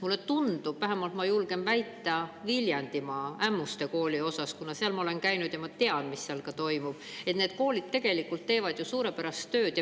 Mulle tundub – vähemasti julgen seda väita Viljandimaa Ämmuste Kooli kohta, kuna seal ma olen käinud ja tean, mis seal toimub –, et need koolid teevad tegelikult suurepärast tööd.